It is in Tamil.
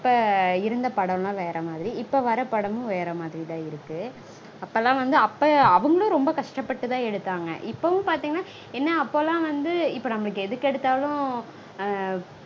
அப்போ இருந்த படம்லாம் வேற மாதிரி. இப்போ வர படமும் வேற மாதிரிதா இருக்கு. அப்போலாம் வந்து அப்ப அவங்களும் ரொம்ப கஷ்டப்பட்டுதா எடுத்தாங்க. இப்பொவும் பாத்தீங்கனா என்ன அப்போலாம் வந்து இப்போ நம்மளுக்கு எதுக்கெடுத்தாலும்